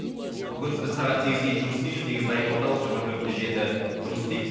бүгін біз сегізге дейін жұмыс істейміз негізі заем орталық жиырма төрт те жеті жұмыс істейді